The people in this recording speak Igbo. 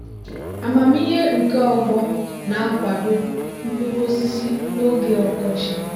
amamihe nke ọgbọ na-akwado mkpuru osisi n'oge ọkọchị.